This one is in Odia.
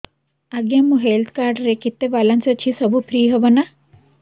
ଆଜ୍ଞା ମୋ ହେଲ୍ଥ କାର୍ଡ ରେ କେତେ ବାଲାନ୍ସ ଅଛି ସବୁ ଫ୍ରି ହବ ନାଁ